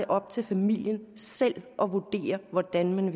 op til familien selv at vurdere hvordan